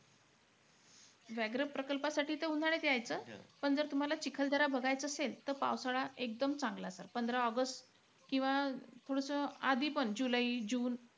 व्याघ्र प्रकल्पासाठी त उन्हाळ्यात यायचं. पण तुम्हाला चिखलदरा बघायचं असेल त पावसाळा एकदम चांगला sir. पंधरा ऑगस्ट किंवा थोडसं आधीपण जुलै जुन,